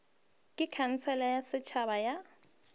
ke khansele ya setšhaba ya